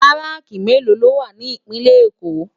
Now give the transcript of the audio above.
Bàráki méló ló wá ni Ipinlè Ékó?